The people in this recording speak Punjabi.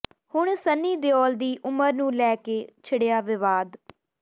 ਹੁਣ ਸੰਨੀ ਦਿਓਲ ਦੀ ਉਮਰ ਨੂੰ ਲੈ ਕੇ ਛਿੜਿਆ ਵਿਵਾਦ